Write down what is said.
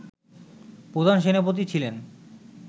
প্রধান সেনাপতি ছিলেন